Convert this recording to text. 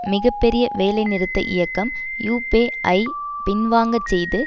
மிக பெரிய வேலைநிறுத்த இயக்கம் யூப்பே ஐ பின்வாங்க செய்து